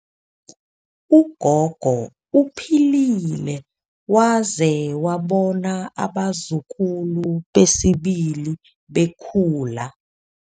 Ugogo uphilile waze wabona abazukulu besibili bekhula.